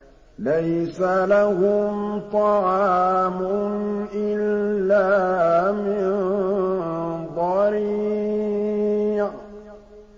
لَّيْسَ لَهُمْ طَعَامٌ إِلَّا مِن ضَرِيعٍ